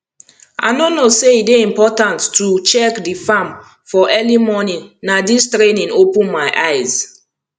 i no know say e dey important to check di farm for early morning na dis training open my eyes